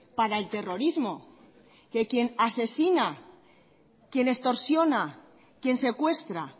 para el terrorismo que quien asesina quien extorsiona quien secuestra